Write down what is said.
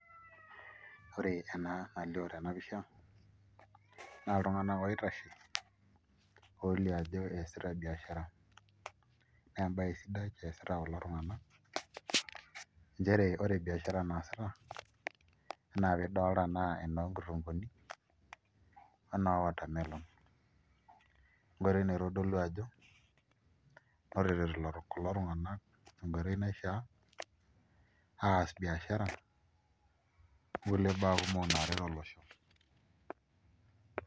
Ore ena nalioo tena pisha naa iltung'anak oitashe olioo ajo eesita biashara naa embaye sidai eesita kulo tung'anak nchere ore biashara naasita enaa nidolta naa enoonkitunguutni o enoowatermelon enkoitoi naitodolu ajo ore eloito kulo tung'anak tenkoitoi naishiaa aas biashara onkulie baa naaret olosho.